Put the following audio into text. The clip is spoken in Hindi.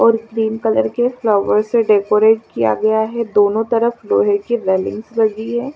और क्रीम कलर के फ्लोवर से डेकोरेट किया गया है दोनों तरफ लोहे के रेलिंग्स लगी है।